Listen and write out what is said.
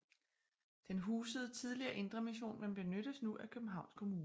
Den husede tidligere Indre Mission men benyttes nu af Københavns Kommune